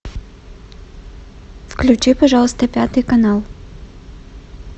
включи пожалуйста пятый канал